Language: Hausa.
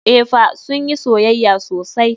Eh fa, sun yi soyayya sosai.